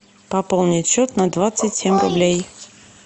пополнить счет на двадцать семь рублей